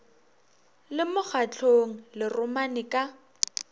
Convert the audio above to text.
le mokgatlong le romane ka